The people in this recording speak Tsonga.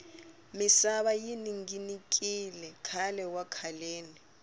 misava yi ninginikile khale wa khaleni